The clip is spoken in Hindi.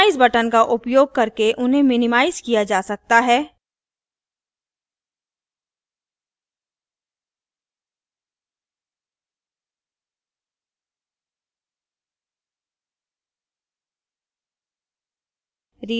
minimize button का उपयोग करके उन्हें minimize किया जा सकता है